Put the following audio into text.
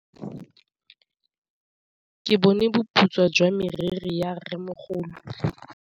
Ke bone boputswa jwa meriri ya rrêmogolo.